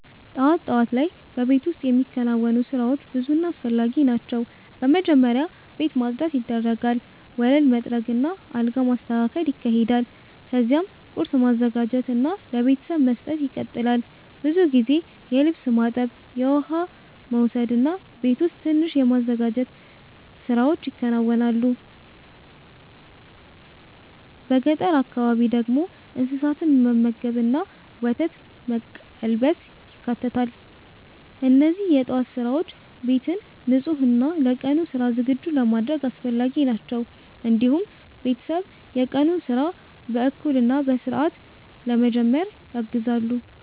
ጠዋት ጠዋት ላይ በቤት ውስጥ የሚከናወኑ ስራዎች ብዙ እና አስፈላጊ ናቸው። በመጀመሪያ ቤት ማጽዳት ይደረጋል፣ ወለል መጥረግ እና አልጋ መስተካከል ይካሄዳል። ከዚያም ቁርስ ማዘጋጀት እና ለቤተሰብ መስጠት ይቀጥላል። ብዙ ጊዜ የልብስ ማጠብ፣ የውሃ መውሰድ እና ቤት ውስጥ ትንሽ የማዘጋጀት ስራዎች ይከናወናሉ። በገጠር አካባቢ ደግሞ እንስሳትን መመገብ እና ወተት መቀልበስ ይካተታል። እነዚህ የጠዋት ስራዎች ቤትን ንጹህ እና ለቀኑ ስራ ዝግጁ ለማድረግ አስፈላጊ ናቸው። እንዲሁም ቤተሰብ የቀኑን ስራ በእኩል እና በስርዓት ለመጀመር ያግዛሉ።